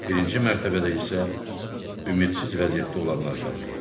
Birinci mərtəbədə isə ümidsiz vəziyyətdə olanlar qalır.